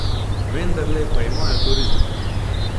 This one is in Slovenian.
Vendarle pa imajo turizem.